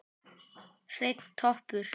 Hreinn toppur.